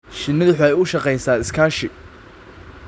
Shinnidu waxay u shaqeysaa iskaashi.